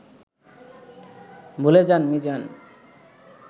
ভুলে যান মিজান